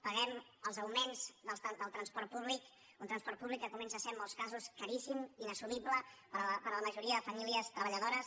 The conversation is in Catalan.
paguem els augments del transport públic un transport públic que comença a ser en molts casos caríssim inassumible per a la majoria de famílies treballadores